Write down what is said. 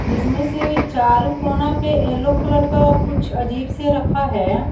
जिसमें से चारों कोना पे येलो कलर का कुछ अजीब से रखा है।